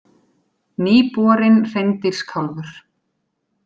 Nýborinn hreindýrskálfur